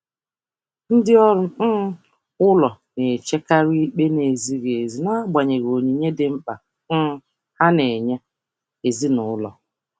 Ndị ọrụ ụlọ na-echekarị ikpe na-ezighị ezi n'agbanyeghị onyinye ha dị mkpa n'ụlọ.